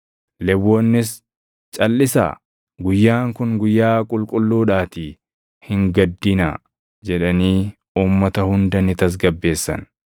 Lewwonnis, “Calʼisaa; guyyaan kun guyyaa qulqulluudhaatii hin gaddinaa” jedhanii uummata hunda ni tasgabbeessan.